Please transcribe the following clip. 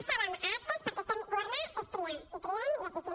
estàvem a actes perquè governar és triar i triem i assistim